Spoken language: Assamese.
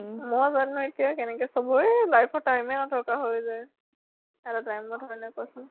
মই যেনেকে, তেনেকে চবৰে life ত time য়ে নথকা হৈ যায় । এটা time নহলে কʼচোন ?